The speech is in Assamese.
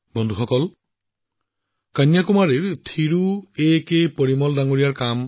বন্ধুসকল কন্যাকুমাৰীৰ থিৰু এ কে পেৰুমাল জীৰ কামো যথেষ্ট প্ৰেৰণাদায়ক